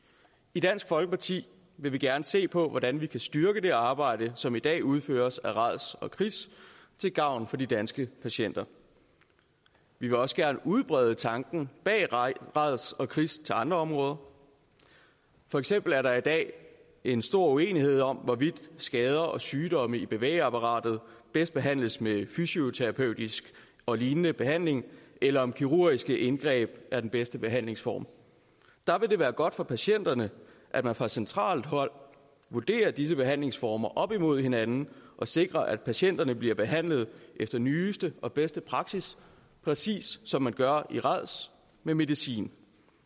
i dansk folkeparti vil vi gerne se på hvordan vi kan styrke det arbejde som i dag udføres af rads og kris til gavn for de danske patienter vi vil også gerne udbrede tanken bag rads og kris til andre områder for eksempel er der i dag en stor uenighed om hvorvidt skader og sygdomme i bevægeapparatet bedst behandles med fysioterapeutisk og lignende behandling eller om kirurgiske indgreb er den bedste behandlingsform der vil det være godt for patienterne at man fra centralt hold vurderer disse behandlingsformer op imod hinanden og sikrer at patienterne bliver behandlet efter nyeste og bedste praksis præcis som man gør i rads med medicin